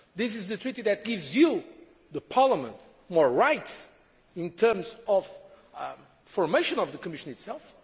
this is the Treaty which gives you, Parliament, more rights in terms of the formation of the Commission itself.